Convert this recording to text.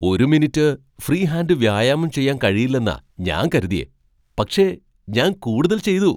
ഒരു minute free hand വ്യായാമം ചെയ്യാൻ കഴിയില്ലെന്നാ ഞാൻ കരുതിയേ, പക്ഷേ ഞാൻ കൂടുതൽ ചെയ്തു.